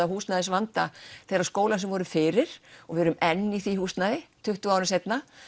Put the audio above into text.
húsnæðisvanda þeirra skóla sem voru fyrir og við erum enn í því húsnæði tuttugu árum seinna